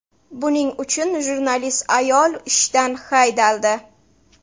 Buning uchun jurnalist ayol ishdan haydaldi.